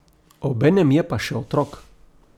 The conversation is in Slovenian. Obenem je pa še otrok.